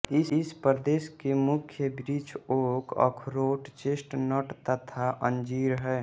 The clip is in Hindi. इस प्रदेश के मुख्य वृक्ष ओक अखरोट चेस्टनट तथा अंजीर हैं